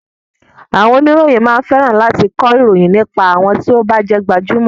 Àwọn oníròyìn máa ń fẹ́ran láti kọ ìròyìn nípa àwọn ti o bá jẹ́ gbajúmọ̀.